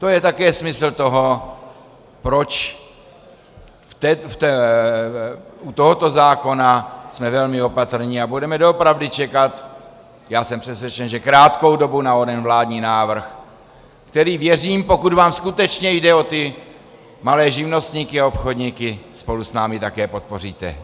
To je také smysl toho, proč u tohoto zákona jsme velmi opatrní a budeme doopravdy čekat, já jsem přesvědčen, že krátkou dobu, na onen vládní návrh, který, věřím, pokud vám skutečně jde o ty malé živnostníky a obchodníky, spolu s námi také podpoříte.